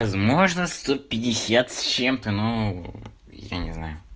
возможно сто пятьдесят с чем-то ну я не знаю